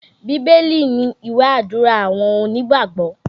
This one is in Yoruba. Bíbélì ni ìwé Àdúrà àwọn onígbàgbọ́